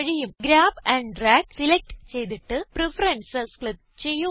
grab and drag select ചെയ്തിട്ട് preferences click ചെയ്യുക